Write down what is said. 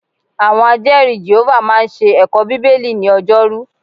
Àwọn Ajẹ́ẹ̀rí Jèhófà máa ń ṣe ẹ̀kọ́ Bíbélì ni ọjọ́rú